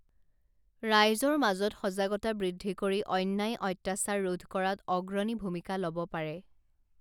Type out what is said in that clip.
ৰাইজৰ মাজত সজাগতা বৃদ্ধি কৰি অন্যায় অত্যাচাৰ ৰোধ কৰাত অগ্ৰণী ভূমিকা লব পাৰে